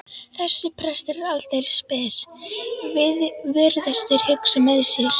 Þessi prestur er aldeilis spes, virðast þeir hugsa með sér.